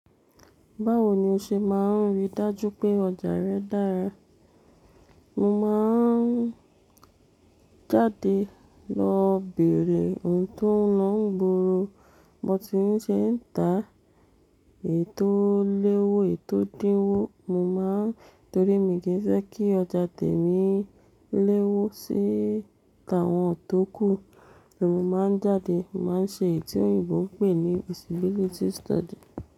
Báwo ni o ṣe máa ń rí dájú pé ọjà rẹ dára? Mo máa ń jáde lọ bere ohun tó ń lọ nigbòòrò, bi wón tún ti ń ṣe ń ta èyí tó léwó, èyí tò dinwó. Mo máa ń-- torí mi kì í fé kí ọjà tèmi léwo síta àwọn tó kù. Èmi máa ń jáde, màá ṣe èyí tí òyìnbó ń pè ní visibility study.